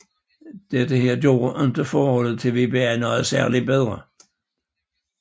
Dette gjorde ikke forholdet til WBA noget særligt bedre